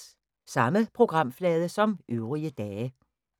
Samme programflade som øvrige dage